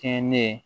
Kɛɲɛ